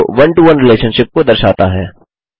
जो one to one relationship को दर्शाता है